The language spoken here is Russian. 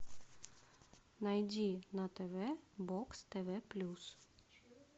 найди на тв бокс тв плюс